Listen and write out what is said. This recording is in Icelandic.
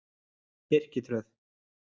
Birkitröð